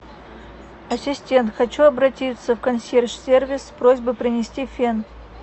ассистент хочу обратиться в консьерж сервис с просьбой принести фен